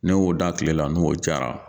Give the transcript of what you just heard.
Ne y'o da kile la n'o jara